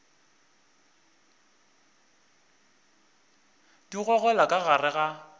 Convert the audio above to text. di gogelwa ka gare ga